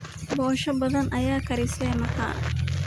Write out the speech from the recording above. Posho badaan aya karise maxaa?